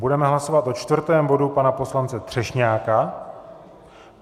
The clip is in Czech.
Budeme hlasovat o čtvrtém bodu pana poslance Třešňáka.